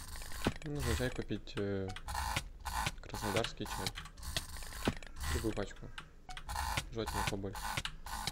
нужно чай купить краснодарский чай любую пачку желательно побольше